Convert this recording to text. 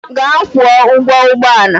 Gaa kwụọ ụgwọ ụgbọ ala!